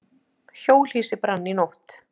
Hjólhýsi brann í nótt